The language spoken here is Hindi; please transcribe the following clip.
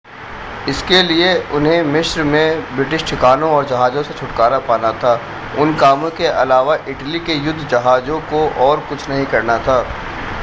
इसके लिए उन्हें मिस्र में ब्रिटिश ठिकानों और जहाज़ों से छुटकारा पाना था उन कामों के अलावा इटली के युद्ध के जहाज़ों को और कुछ नहीं करना था